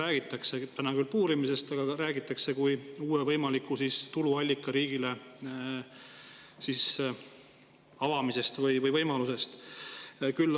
Seni räägitakse küll puurimisest, aga sellest räägitakse kui uue võimaliku tuluallika riigile avamisest või uuest võimalusest.